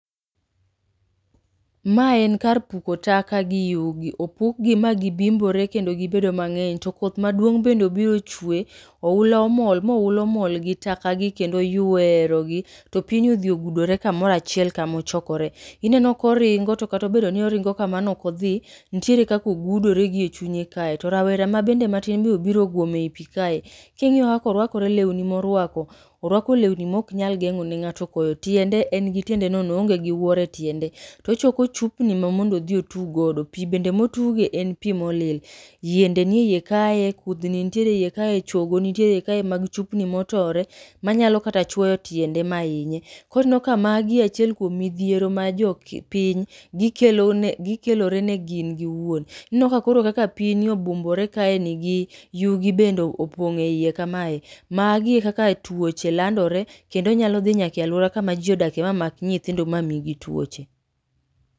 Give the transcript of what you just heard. Ma en kar puko taka gi yugi. Opukgi ma gibimbore kendo gibedo mang'eny. To koth maduong' bende obiro ochwe. Oula omol, mo oula omol gi taka gi kendo oywerogi, to pini odhi ogudore kamoro achiel kamochokore. Ineno koringo to kata obedo ni oringo kamano ok odhi, nitiere kaka ogudore gi e chunye kae. To rawera ma bende matin be oguom ei pii kae. King'iyo kaka orwakore lewni morwako, orwako lewni mok nyal geng'o ne ng'ato koyo. Tiende, en gi tiende nono oonge gi wuor e tiende. Tochoko chupni ma mondo odhi otug godo, pii bende motuge, en pii molil. Yiende ni e yie kaye, kudhni nitiere eyie kaye, chogo kaye mag chupni motore, manyalo kata chuoyo tiende ma inye. Koro ineno ka magi achiel kuom midhiero ma jo piny, gikelo ne gikelore ne gin giwuon. Ineno ka koro kaka pini obumbore kaeni gi, yugi bende opong' e iye kamaye. Magi e kaka tuoche landore, kendo nyalo dhi nyake alwora ma jii odake mamak nyithindo ma migi tuoche